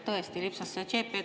Tõesti lipsas see CP sisse.